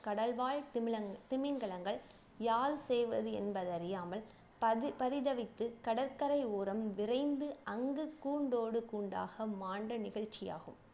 கடல்வால் திமிலன் திமிங்கலங்கள் யாது செய்வது என்பதறியாமல் பதி பரிதவித்து கடற்கரை ஓரம் விரைந்து அங்கு கூண்டோடு கூண்டாக மாண்ட நிகழ்ச்சி ஆகும்